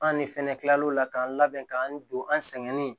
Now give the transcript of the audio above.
An de fɛnɛ kilal'o la k'an labɛn k'an don an sɛgɛn nin